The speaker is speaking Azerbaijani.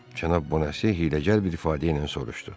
Cənab Bonasiye hiyləgər bir ifadə ilə soruşdu.